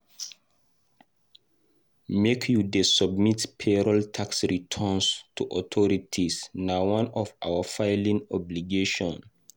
Make you dey submit payroll tax returns to authorities na one of our filing obligation.